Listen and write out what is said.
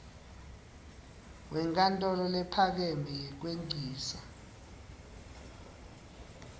wenkantolo lephakeme yekwengcisa